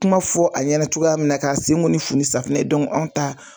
Kuma fɔ a ɲɛna cogoya min na ka sen ko fu ni sanfunɛ ye anw ta